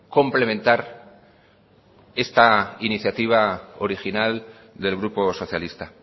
complementar esta iniciativa original del grupo socialista